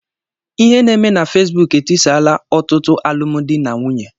Ihe na-eme na fesbụụk etisaala ọtụtụ alụmdi na nwunye.